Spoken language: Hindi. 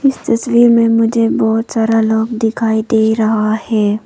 इस तस्वीर में मुझे बहुत सारा लोग दिखाई दे रहा है।